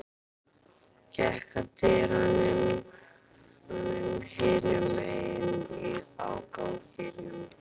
Gekk að dyrum hinum megin á ganginum.